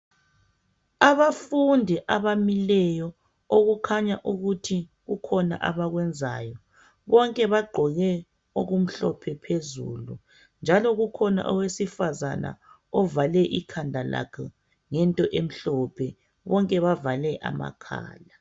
Abafundi abamileyo, okukhanya ukuthi kukhona abakwenzayo. Bonke bagqoke okumhlopha phezulu. Njalo kukhona owesifazana ovale ikhanda lakhe ngento emhlophe, bonke bavale amakhala.